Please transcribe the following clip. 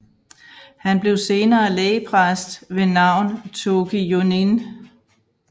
Han blev senere lægpræst ved navn Toki Jonin